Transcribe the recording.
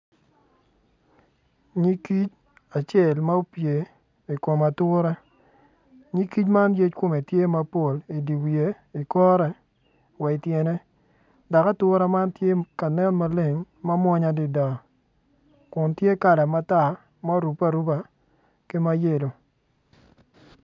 Nyig kic acel ma opye i kom atura nyig kic ma yec komme tye mapol i di wiye i korre wa ityene dak ature man tye ka nen maleng ma mwonya adida kun ti kala matar ma orupe aruba ki mayelo